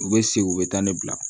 U bɛ segin u bɛ taa ne bila